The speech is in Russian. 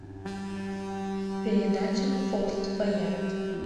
передача форт боярд